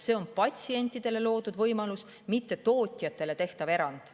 See on patsientidele loodud võimalus, mitte tootjatele tehtav erand.